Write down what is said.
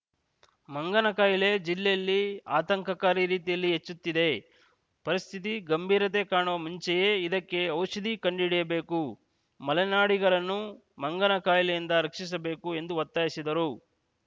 ಮಂಗನಕಾಯಿಲೆ ಜಿಲ್ಲೆಯಲ್ಲಿ ಆತಂಕಕಾರಿ ರೀತಿಯಲ್ಲಿ ಹೆಚ್ಚುತ್ತಿದೆ ಪರಿಸ್ಥಿತಿ ಗಂಭೀರತೆ ಕಾಣುವ ಮುಂಚೆಯೇ ಇದಕ್ಕೆ ಔಷಧಿ ಕಂಡುಹಿಡಿಯಬೇಕು ಮಲೆನಾಡಿಗರನ್ನು ಮಂಗನಕಾಯಿಲೆಯಿಂದ ರಕ್ಷಿಸಬೇಕು ಎಂದು ಒತ್ತಾಯಿಸಿದರು